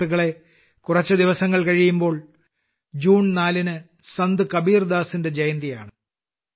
സുഹൃത്തുക്കളേ കുറച്ചു ദിവസങ്ങൾ കഴിയുമ്പോൾ ജൂൺ 4 ന് സന്ത് കബീർദാസിന്റെ ജയന്തിയാണ്